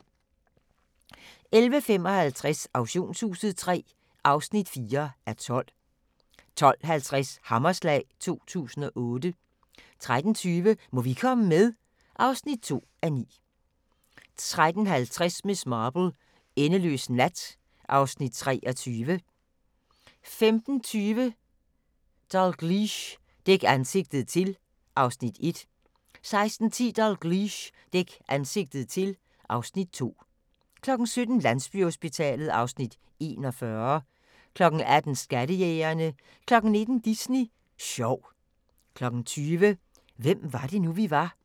11:55: Auktionshuset III (4:12) 12:50: Hammerslag 2008 13:20: Må vi komme med? (2:9) 13:50: Miss Marple: Endeløs nat (Afs. 23) 15:20: Dalgliesh: Dæk ansigtet til (Afs. 1) 16:10: Dalgliesh: Dæk ansigtet til (Afs. 2) 17:00: Landsbyhospitalet (Afs. 41) 18:00: Skattejægerne 19:00: Disney Sjov 20:00: Hvem var det nu, vi var?